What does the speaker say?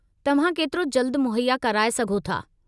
तव्हां केतिरो जल्द मुहैया कराए सघो था?